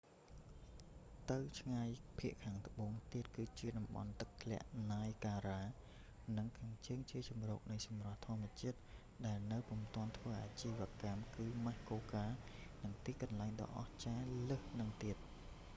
ទៅឆ្ងាយភាគខាងត្បូងទៀត គឺជាតំបន់ទឹកធ្លាក់ណាយហ្គារ៉ា niagara និងខាងជើងជាជម្រកនៃសម្រស់ធម្មជាតិ ដែលនៅពុំទាន់ធ្វើអាជីវកម្ គឺ ម៉ាស់កូកា muskoka និងទីកន្លែងដ៏អស្ចារ្យលើសហ្នឹងទៀត